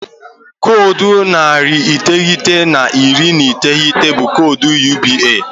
Koodu narị iteghete na iri na iteghete bụ koodu ndị UBA.